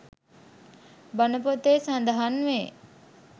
බණ පොතේ සඳහන් වේ.